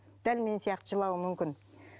дәл мен сияқты жылауы мүмкін